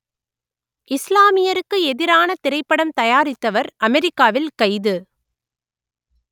இஸ்லாமியருக்கு எதிரான திரைப்படம் தயாரித்தவர் அமெரிக்காவில் கைது